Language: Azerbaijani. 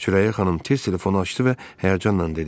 Sürəyya xanım tez telefonu açdı və həyəcanla dedi: